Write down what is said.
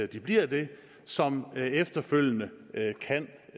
de bliver det som efterfølgende kan